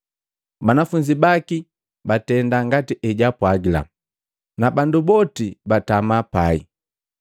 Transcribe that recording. Banafunzi baki batenda ngati ejaapwagila, na bandu boti batama pai.